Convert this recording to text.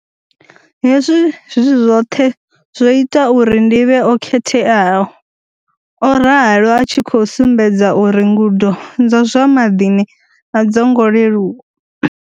Hezwi zwi zwoṱhe zwo ita uri ndi vhe o khetheaho, o ralo, a tshi khou sumbedza uri ngudo dza zwa maḓini a dzo ngo leluwa.